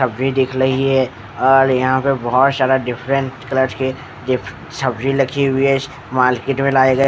अभी दिख रही है और यहाँ पर बहुत सारा डिफ्रन्ट कलर के डिफ सब्जी लखी हुई है इस मार्केट में लाए ।